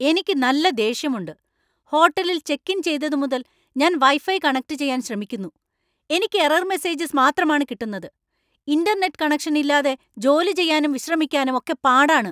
എനിക്ക് നല്ല ദേഷ്യമുണ്ട്! ഹോട്ടലിൽ ചെക്ക് ഇൻ ചെയ്തതുമുതൽ ഞാൻ വൈഫൈ കണക്റ്റുചെയ്യാൻ ശ്രമിക്കുന്നു, എനിക്ക് എറര്‍ മെസ്സേജസ് മാത്രമാണ് കിട്ടുന്നത് . ഇന്‍റർനെറ്റ് കണക്ഷൻ ഇല്ലാതെ ജോലി ചെയ്യാനും വിശ്രമിക്കാനും ഒക്കെ പാടാണ്.